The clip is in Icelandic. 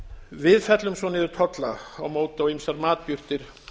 við fellum svo niður tolla á móti á ýmsar matjurtir